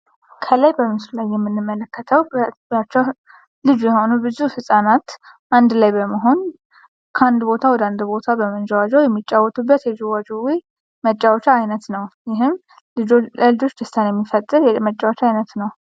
ከላይ በምስሉ ላይ እንደምንመለከተው ብዙ ህጻናት አንድላይ በመሆን ከአንድ ቦታ ወደ አንድ ቦታ በመንዠዋዠው የሚጫወቱበት የዥዋዥዌ መጫወቻ አይነት ነውደ ይህም ለልጆች ደስታን የሚፈጥር መጫወቻ አይነት ነው።